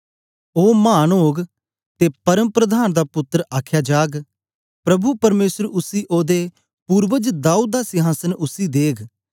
ओ मान ओग ते परमप्रधान दा पुत्तर आख्या जाग प्रभु परमेसर उसी ओदे पूर्वज दाऊद दा सिंहासन उसी देग